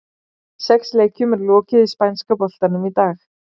Sex leikjum er lokið í spænska boltanum í dag.